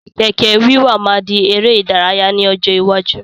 Kẹ̀kẹ́ wíwà máa di ère ìdárayá ni ọjọ́ iwájú